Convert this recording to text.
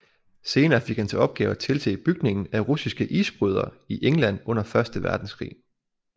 Senere fik han til opgave at tilse bygningen af russiske isbrydere i England under Første Verdenskrig